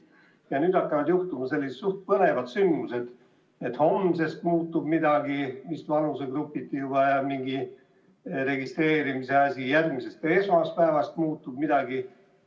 Ja nüüd hakkavad juhtuma veel sellised suhteliselt põnevad sündmused, et homsest muutub midagi, vist vanusegrupiti ja seoses registreerimisega, ka järgmisest esmaspäevast muutub midagi.